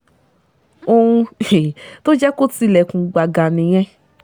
ohun um tó jẹ́ kó tilẹ̀kùn gbàgà nìyẹn